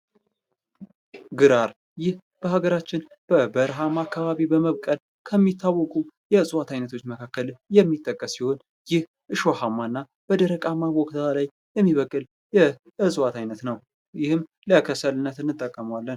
ግራር፦ ይህ በሀገራችን በበረሃማ አከባቢ በመብቀል ከሚታወቁ የእፅዋት አይነቶች መካከል የሚጠቀስ ሲሆን ይህ እሾህአማ በደረቃማ ቦታ ላይ የሚበቅል የእፅዋት አይነት ነው። ይህም ለክሰልነት እንጠቀምበትአለን።